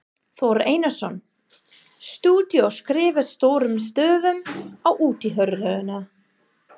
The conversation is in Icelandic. Þór Einarsson, stúdíó, skrifað stórum stöfum á útihurðina.